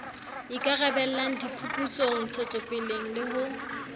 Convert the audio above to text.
ikarabellang diphuputsong ntshetsopeleng le ho